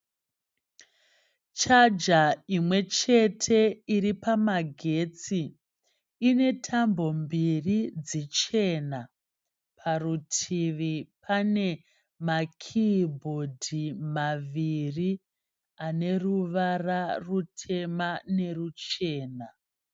Chaja imwechete iripamagetsi, inetambo mbiri dzichena. Parutivi pane makiibhodhi maviri aneruvara rutema neruchena.